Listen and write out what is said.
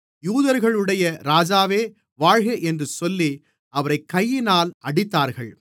யூதர்களுடைய ராஜாவே வாழ்க என்று சொல்லி அவரைக் கையினால் அடித்தார்கள்